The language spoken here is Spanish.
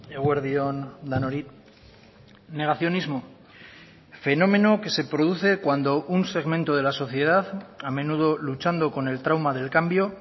eguerdion denoi negacionismo fenómeno que se produce cuando un segmento de la sociedad a menudo luchando con el trauma del cambio